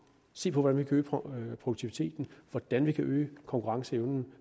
se på hvordan vi kan øge produktiviteten hvordan vi kan øge konkurrenceevnen